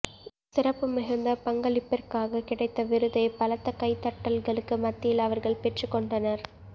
சிறப்புமிகுந்த பங்களிப்பிற்காக கிடைத்த விருதை பலத்த கைத்தட்டல்களுக்கு மத்தியில் அவர்கள் பெற்றுக்கொண்டனர்